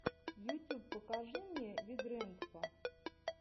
ютюб покажи мне вигрэндпа